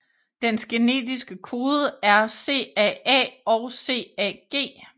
Dens genetiske kode er CAA og CAG